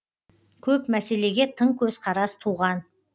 көп мәселеге тың көзқарас туған